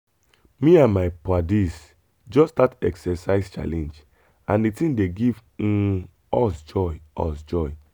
me and my paddies just start exercise challenge and the thing dey give um us joy. us joy.